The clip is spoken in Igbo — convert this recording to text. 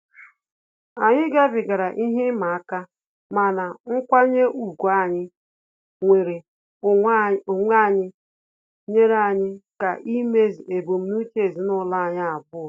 Anyị gabigara ihe ịma aka, mana nkwanye ùgwù anyị nwere onwe anyị nyere anyị aka imezu ebumnuche ezinụlọ anyi abụọ